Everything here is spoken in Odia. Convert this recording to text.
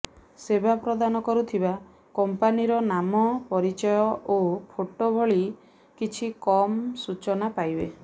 ସେବା ପ୍ରଦାନ କରୁଥିବା କମ୍ପାନୀର ନାମ ପରିଚୟ ଓ ଫୋଟ ଭଳି କିଛି କମ୍ ସୂଚନା ପାଇବେ